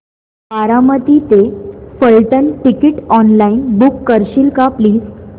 बारामती ते Phaltan ticket online book करशील का प्लीज